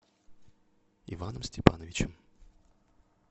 иваном степановичем